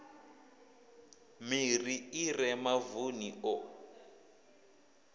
miri i re mavuni o